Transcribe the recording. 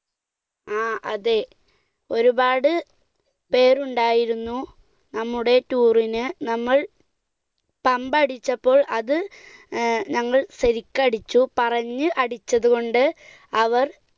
ങ്ഹാ അതെ, ഒരുപാട് പേർ ഉണ്ടായിരുന്നു നമ്മുടെ tour ന്, നമ്മൾ pump അടിച്ചപ്പോൾ അത് ഞങ്ങൾ ശരിക്ക് അടിച്ചു, പറഞ്ഞ് അടിച്ചതുകൊണ്ട് അവർ